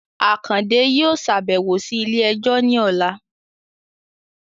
Akande yóò ṣabẹwo si ile-ẹjọ ni ọla